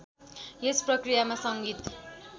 यस प्रक्रियामा सङ्गीत